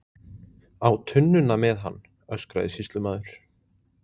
Á tunnuna með hann, öskraði sýslumaður.